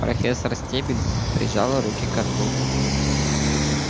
профессор стебль прижала руки ко рту